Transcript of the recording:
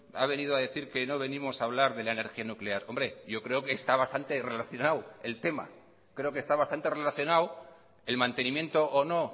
ha venido a decir que no venimos a hablar de la energía nuclear hombre yo creo que está bastante relacionado el tema creo que está bastante relacionado el mantenimiento o no